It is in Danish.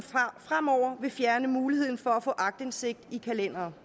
fremover vil fjerne muligheden for at få aktindsigt i kalendere